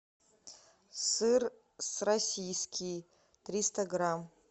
сыр российский триста грамм